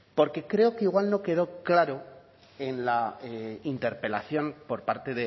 porque creo que igual no quedó claro en la interpelación por parte